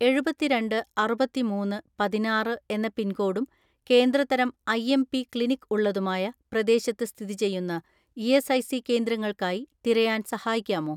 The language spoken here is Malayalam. "എഴുപത്തിരണ്ട് അറുപത്തിമൂന്ന് പതിനാറ്‌ എന്ന പിൻകോഡും കേന്ദ്ര തരം ഐ.എം.പി ക്ലിനിക് ഉള്ളതുമായ പ്രദേശത്ത് സ്ഥിതിചെയ്യുന്ന ഇ.എസ്.ഐ.സി കേന്ദ്രങ്ങൾക്കായി തിരയാൻ സഹായിക്കാമോ?"